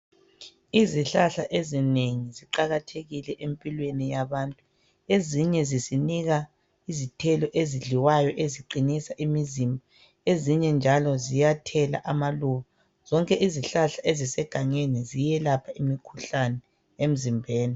Izihlahla ezinengi ziqakathekile empilweni yabantu ezinye zisinika izithelo ezidliwayo eziqinisa imizimba, ezinye njalo ziyathela amaluba. Zonke izihlahla ezisegangeni ziyelapha imikhuhlane emzimbeni.